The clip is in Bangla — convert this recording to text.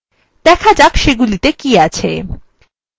দেখা যাক সেগুলিতে কী আছে